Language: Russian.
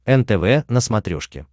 нтв на смотрешке